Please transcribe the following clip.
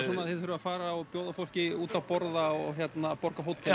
svona þið þurfið að fara og bjóða fólki út að borða og borga hótel